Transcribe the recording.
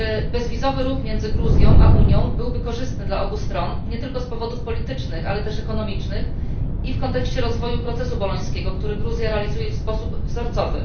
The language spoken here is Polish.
Bezwizowy ruch między Gruzją a Unią byłby korzystny dla obu stron nie tylko z powodów politycznych, ale też ekonomicznych i w kontekście rozwoju procesu bolońskiego, który Gruzja realizuje w sposób wzorcowy.